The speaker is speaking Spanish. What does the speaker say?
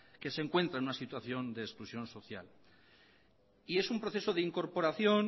que se encuentra en una situación de exclusión social y es un proceso de incorporación